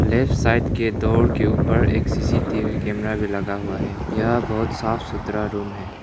Left side के door के ऊपर एक सी_सी_टी_वी कैमरा भी लगा हुआ है यह बहुत साफ़सुथरा रूम है।